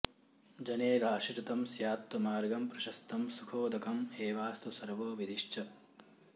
जनैराश्रितं स्यात्तु मार्गं प्रशस्तं सुखोदकं एवास्तु सर्वो विधिश्च